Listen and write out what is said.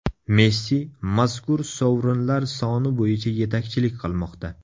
Messi mazkur sovrinlar soni bo‘yicha yetakchilik qilmoqda.